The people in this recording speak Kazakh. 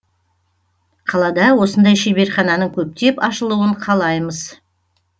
қалада осындай шеберхананың көптеп ашылуын қалаймыз